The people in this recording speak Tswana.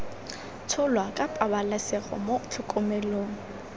tsholwa ka pabalesego mo tlhokomelong